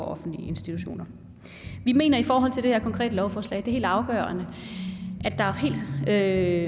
offentlige institutioner vi mener i forhold til det her konkrete lovforslag at det er helt afgørende at